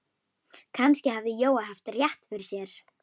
Kannski hafði Jói haft rétt fyrir sér.